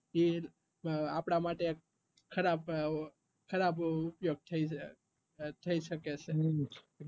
ઈ આપડા માટે ખરાબ ખરાબ ઉપયોગ થઇ શકે છે ઉમ